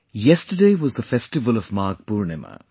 Yesterday was the festival of Magh Poornima